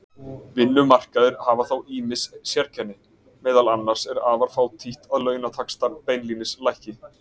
Vinnumarkaðir hafa þó ýmis sérkenni, meðal annars er afar fátítt að launataxtar beinlínis lækki.